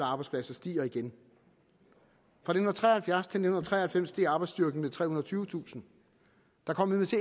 arbejdspladser stiger igen fra nitten tre og halvfjerds til nitten tre og halvfems steg arbejdsstyrken med trehundrede og tyvetusind der kom